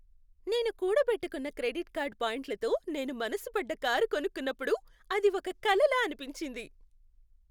నేను కూడబెట్టుకున్న credit card పాయింట్లతో నేను మనసుపడ్డ కారు కొనుక్కున్నప్పుడు, అది ఒక కలలా అనిపించింది.